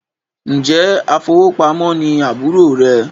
Njẹ afowópamọ́ ní àbúrò rẹ